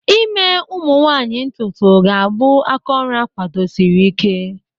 ime ka ụmụ nwanyị ntutu ga-abụ aka oru akwadosiri Ike.